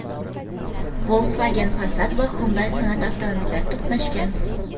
Volkswagen Passat va Hyundai Sonata avtomobillari to‘qnashgan.